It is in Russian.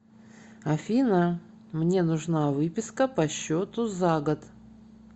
афина мне нужна выписка по счету за год